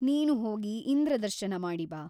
ನೀನು ಹೋಗಿ ಇಂದ್ರದರ್ಶನ ಮಾಡಿ ಬಾ.